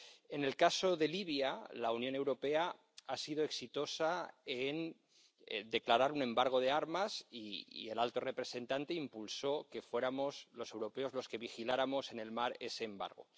En el caso de Libia, la Unión Europea ha sido exitosa en declarar un embargo de armas, y el alto representante impulsó que fuéramos los europeos los que vigiláramos en el mar ese embargo.